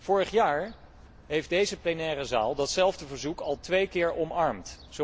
Vorig jaar heeft deze plenaire vergadering datzelfde verzoek al twee keer omarmd.